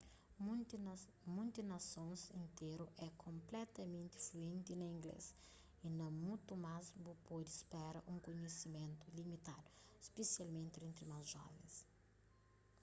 munti nasons interu é konpletamenti fluenti na inglês y na mutu más bu pode spera un kunhisimentu limitadu spesialmenti entri más jovens